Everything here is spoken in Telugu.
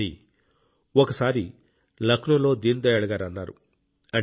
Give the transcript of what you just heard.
అని ఒకసారి లక్నోలో దీన్ దయాళ్ గారు అన్నారు